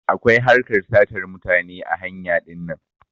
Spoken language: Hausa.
Akwai harkar sata mutane ã hanya dinnan.